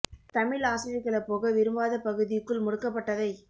தமிழ் ஆசிரியர்கள போக விரும்பாத பகுதிக்குள் முடக்கப்பட்டதை